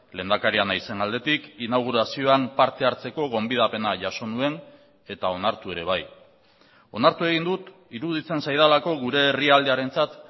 lehendakaria naizen aldetik inaugurazioan parte hartzeko gonbidapena jaso nuen eta onartu ere bai onartu egin dut iruditzen zaidalako gure herrialdearentzat